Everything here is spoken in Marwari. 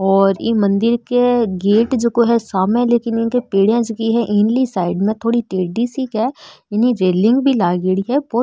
ये मंदिर के गेट जेको है सामने लेकिन इ की पेढिया जकी साइड में थोड़ी टेडी सी है रैलिन भी लागेड़ी है।